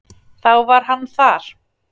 Þá var hann þar.